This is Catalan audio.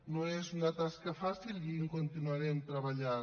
no és una tasca fàcil i hi continuarem treballant